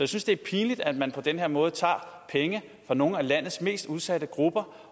synes det er pinligt at man på den her måde tager penge fra nogle af landets mest udsatte grupper